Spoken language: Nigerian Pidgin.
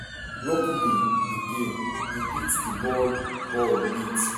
luckily again e hit di ball ball wit